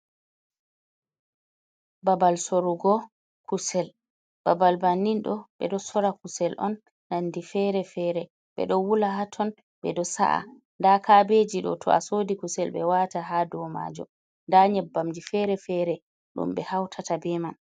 Babal sorrugo kusel, babal bannin ɗo ɓe ɗo sorra kusel on nandi fere-fere, ɓe ɗo wula haton, ɓe ɗoo sa’a nda kaabeji ɗo ton a sooda kusel ɓe wata ha dou maajuum, nda nyebbamji fere-fere, ɗum be hautata be man.